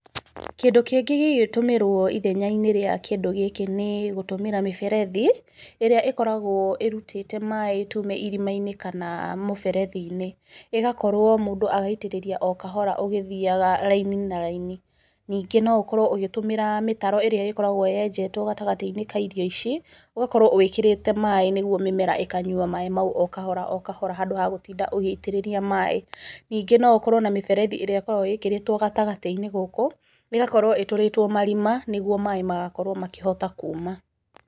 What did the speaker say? Kĩndũ kĩngĩ kĩngĩtũmĩrwo ithenya-inĩ rĩa kĩndũ gĩkĩ nĩ gũtũmĩra mĩberethi, ĩrĩa ĩkoragwo ĩrutĩte maaĩ tuge irima-inĩ kana mũberethi-inĩ, ĩgakorwo mũndũ agaitĩrĩria o kahora ũgĩthiaga raini na raini. Nĩngĩ no ũkorwo ũgĩtũmĩra mĩtaro ĩraĩ ĩkoragwo yenjetwo gatagatĩ-inĩ ka irio ici, ũgakorwo wĩkĩrĩte maaĩ nĩ guo mĩmera ĩkanywa maaĩ mau o kahora o kahora handũ ha gũtinda ũgĩitĩrĩria maaĩ. Ningĩ no ũkorwo na mĩberethi ĩrĩa ĩkoragwo ĩĩkĩrĩtwo gatagatĩ-inĩ gũkũ, ĩgakorwo ĩtũrĩtwo marima nĩ guo maaĩ magakorwo makĩhota kuma.